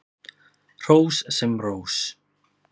Hrós sem rós.